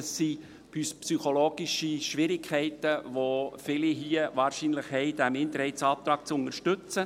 Viele hier haben wahrscheinlich psychologische Schwierigkeiten, diesen Minderheitsantrag zu unterstützen.